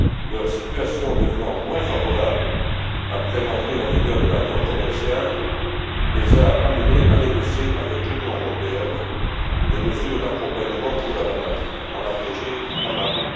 Leur situation, devenant moins favorable après l'entrée en vigueur de l'accord commercial, les a amenés à négocier avec l'Union européenne des mesures d'accompagnement pour la banane, en abrégé MAB.